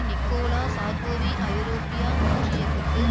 Nicolas Sarkozy ஐரோப்பியா ஒன்றியக்கத்தில்